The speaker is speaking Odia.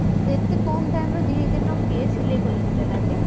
ଏତେ କମ time ରେ ଦିନ କିଏ ସିଲେଇ କରି ଦେଲା ଯେ?